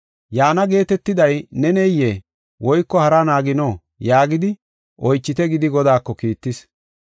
“Yaana geetetiday neneyee? Woyko haraa naagino?” yaagidi oychite gidi Godaako kiittis.